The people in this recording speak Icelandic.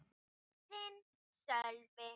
Þinn, Sölvi.